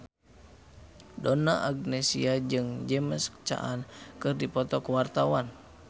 Donna Agnesia jeung James Caan keur dipoto ku wartawan